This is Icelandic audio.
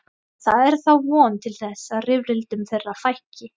Það er þá von til þess að rifrildum þeirra fækki.